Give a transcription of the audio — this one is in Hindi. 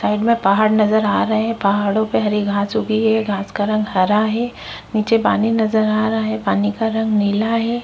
साइड में पहाड़ नजर आ रहे है पहाड़ो पे हरी घास उगी है घास का रंग हरा है निचे पानी नज़र आ रहा है पानी का रंग नीला है।